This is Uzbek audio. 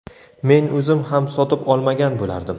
Men o‘zim ham sotib olmagan bo‘lardim.